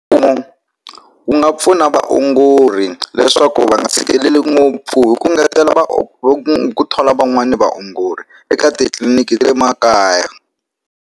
Mfumo wu nga pfuna vaongori leswaku va nga fikeleli ngopfu hi ku ngetela ku thola van'wani vaongori eka titliliniki le makaya.